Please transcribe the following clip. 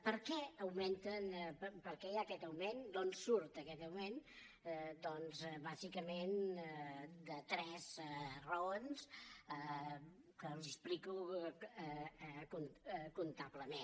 per què augmenten per què hi ha aquest augment d’on surt aquest augment doncs bàsicament per tres raons que els explico comptablement